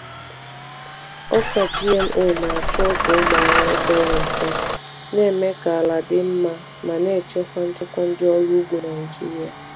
Ọka GMO na-achọ ọgwụ ụmụ ahụhụ pere mpe, na-eme ka ala dị mma ma na-echekwa nchekwa ndị ọrụ ugbo Naijiria.